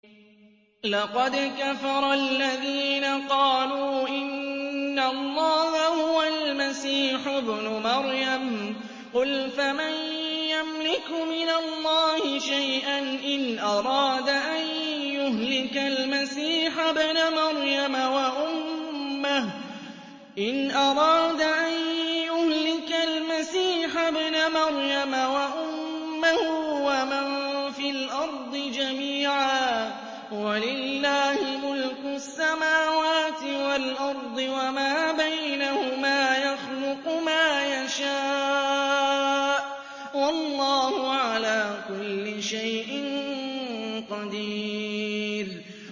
لَّقَدْ كَفَرَ الَّذِينَ قَالُوا إِنَّ اللَّهَ هُوَ الْمَسِيحُ ابْنُ مَرْيَمَ ۚ قُلْ فَمَن يَمْلِكُ مِنَ اللَّهِ شَيْئًا إِنْ أَرَادَ أَن يُهْلِكَ الْمَسِيحَ ابْنَ مَرْيَمَ وَأُمَّهُ وَمَن فِي الْأَرْضِ جَمِيعًا ۗ وَلِلَّهِ مُلْكُ السَّمَاوَاتِ وَالْأَرْضِ وَمَا بَيْنَهُمَا ۚ يَخْلُقُ مَا يَشَاءُ ۚ وَاللَّهُ عَلَىٰ كُلِّ شَيْءٍ قَدِيرٌ